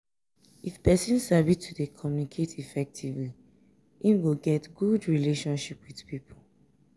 if persin sabi to de communicate effectively im go get good relationship with pipo